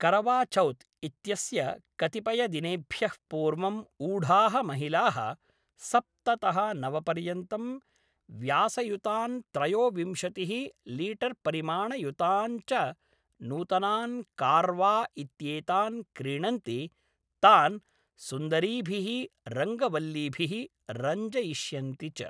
करवाचौथ् इत्यस्य कतिपयदिनेभ्यः पूर्वम् ऊढाः महिलाः सप्ततः नवपर्यन्तं व्यासयुतान् त्रयोविंशतिः लीटर्परिमाणयुतान् च नूतनान् कार्वा इत्येतान् क्रीणन्ति तान् सुन्दरीभिः रङ्गवल्लीभिः रञ्जयिष्यन्ति च।